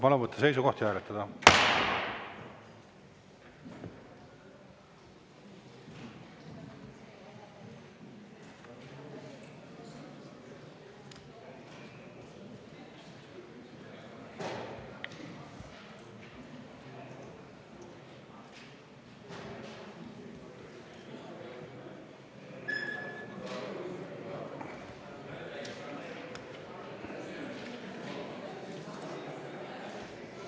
Palun võtta seisukoht ja hääletada!